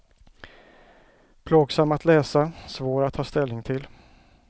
Plågsam att läsa, svår att ta ställning till.